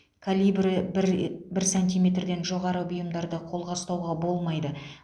калибрі бір і бір сантиметрден жоғары бұйымдарды қолға ұстауға болмайды